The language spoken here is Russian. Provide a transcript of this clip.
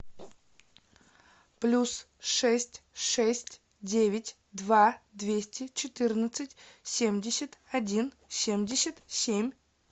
плюс шесть шесть девять два двести четырнадцать семьдесят один семьдесят семь